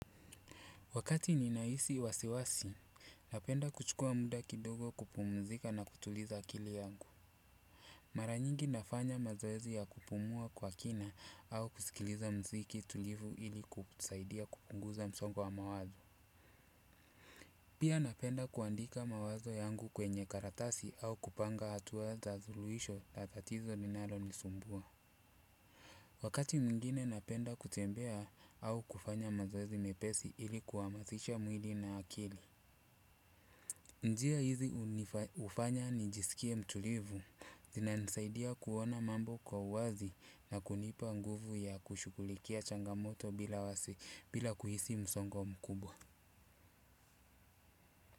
Wakati nina hisi wasiwasi, napenda kuchukua muda kidogo kupumzika na kutuliza akili yangu. Mara nyingi nafanya mazoezi ya kupumua kwa kina au kusikiliza muziki tulivu ili kusaidia kupunguza msongo wa mawazo. Pia napenda kuandika mawazo yangu kwenye karatasi au kupanga hatua za suluhisho la tatizo linalonisumbua. Wakati mwingine napenda kutembea au kufanya mazoezi mepesi ili kuhamasisha mwili na akili. Njia hizi hufanya nijisikie mtulivu, zinanisaidia kuona mambo kwa uwazi na kunipa nguvu ya kushughulikia changamoto bila kuhisi msongo mkubwa.